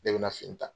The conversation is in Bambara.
Ne bɛna fini ta